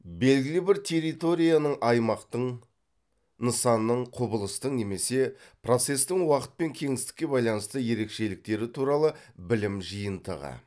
белгілі бір территорияның аймақтың нысанның құбылыстың немесе процестің уақыт пен кеңістікке байланысты ерекшеліктері туралы білім жиынтығы